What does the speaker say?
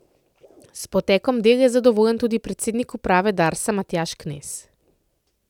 S potekom del je zadovoljen tudi predsednik uprave Darsa Matjaž Knez.